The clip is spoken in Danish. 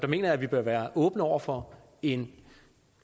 mener vi bør være åbne over for en